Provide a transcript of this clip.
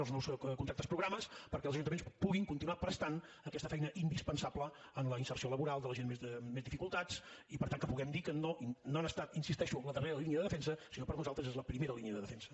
els nous contractes programa perquè els ajuntaments puguin continuar prestant aquesta feina indispensable en la inserció laboral de la gent amb més dificultats i per tant que puguem dir que no han estat hi insisteixo en la darrera línia de defensa sinó que per nosaltres és la primera línia de defensa